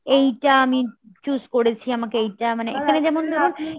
এইটা আমি choose করেছি মানে আমাকে এইটা এখানে যেমন ধরুন